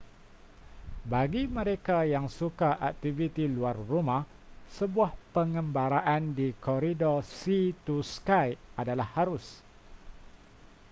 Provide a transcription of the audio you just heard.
bagi mereka yang suka aktiviti luar rumah sebuah pengembaraan di koridor sea to sky adalah harus